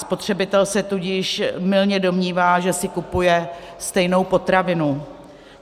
Spotřebitel se tudíž mylně domnívá, že si kupuje stejnou potravinu.